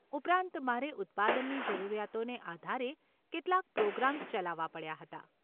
ઉપરાંત, મારે ઉત્પાદનની જરૂરિયાતોને આધારે કેટલાક પ્રોગ્રામ્સ ચલાવવા પડ્યા હતા.